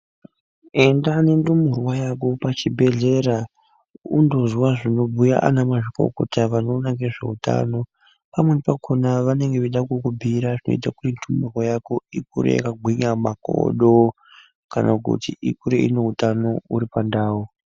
Enda nendumurwa yako pachibhedhlera, undozwa zvinobhuya anamwazvikokota vanoona ngezveutano. Pamweni pakhona vanenge veida kukubhuira zvinoita kuti yako ikure yakagwinya makodo kana kuti ikure ine utano huri pandau.